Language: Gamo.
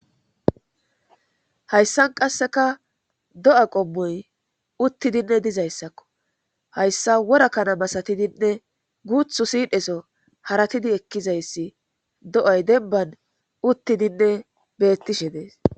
hayssan qasseka do7a qommoy uttidinne dizayssakko hayssa wora kana masatidinne guuthu siidheso haratidi ekkizayssi do7ay denban uttidinne beettishe dees